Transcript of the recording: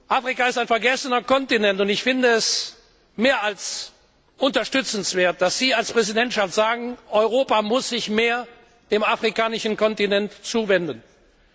Afrika ist ein vergessener Kontinent, und ich finde es mehr als unterstützenswert, dass Sie als Präsidentschaft sagen, dass sich Europa mehr dem afrikanischen Kontinent zuwenden muss.